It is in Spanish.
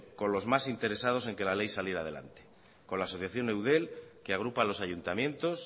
con los más interesados en que la ley saliera adelante con la asociación de eudel que agrupa a los ayuntamientos